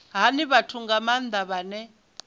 hani vhathu nga maanda vhane